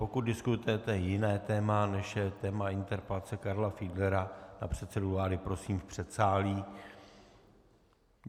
Pokud diskutujete jiné téma, než je téma interpelace Karla Fiedlera na předsedu vlády, prosím, v předsálí.